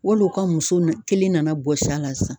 Wali u ka muso nu kelen nana bɔsi a la sisan.